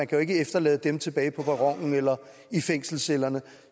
kan efterlade dem tilbage på perronen eller i fængselscellerne